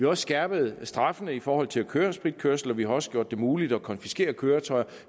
også skærpet straffene i forhold til at køre spritkørsel og vi har også gjort det muligt at konfiskere køretøjet